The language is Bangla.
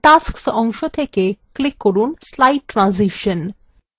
in tasks অংশ থেকে click করুন slide ট্রানজিশন